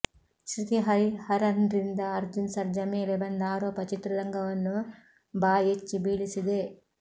ಶೃತಿ ಹರಿಹರನ್ರಿಂದ ಅರ್ಜುನ್ ಸರ್ಜಾ ಮೇಲೆ ಬಂದ ಆರೋಪ ಚಿತ್ರರಂಗವನ್ನು ಬಎಚ್ಚಿ ಬೀಳಿಸಿದೆ